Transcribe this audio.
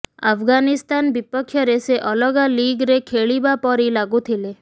ଆଫ୍ଗାନିସ୍ତାନ ବିପକ୍ଷରେ ସେ ଅଲଗା ଲିଗ୍ରେ ଖେଳିବା ପରି ଲାଗୁଥିଲେ